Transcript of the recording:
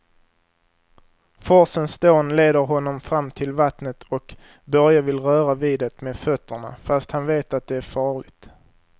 Forsens dån leder honom fram till vattnet och Börje vill röra vid det med fötterna, fast han vet att det är farligt.